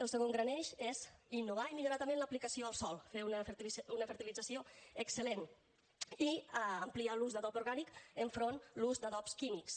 el segon gran eix és innovar i millorar també en l’aplicació al sòl fer una fertilització excel·lent i ampliar l’ús d’adob orgànic enfront l’ús d’adobs químics